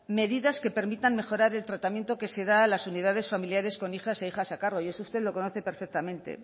medidas que permitan mejorar el tratamiento que se da a las unidades familiares con hijos e hijas a cargo eso usted lo conoce perfectamente